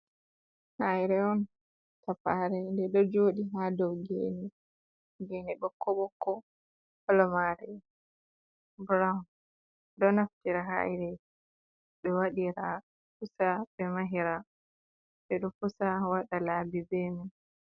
Haire'on, tafare de do jooɗi ha dou geene koboko kolo mare burawon ɗo naftira haire de waɗira, pusa be mahira ɓe do pusa waɗa laabi beman.